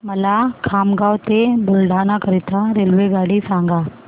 मला खामगाव ते बुलढाणा करीता रेल्वेगाडी सांगा